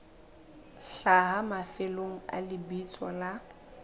hlaha mafelong a lebitso la